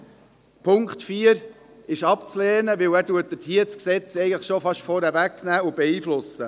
Der Punkt 4 ist abzulehnen, weil er das Gesetz schon fast vorwegnimmt und beeinflusst.